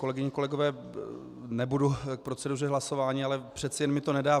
Kolegyně, kolegové, nebudu k proceduře hlasování, ale přece jen mi to nedá.